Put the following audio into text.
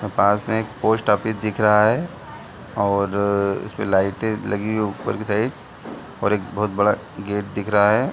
पास में एक post office दिख रहा है और इसपे लाइटे लगी है ऊपर की साइड और एक बहोत बड़ा गेट दिख रहा है।